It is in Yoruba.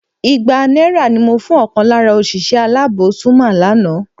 Igba náírà ni mo fún ọ̀kan lára òṣìṣẹ́ aláàbò Zuma lánàá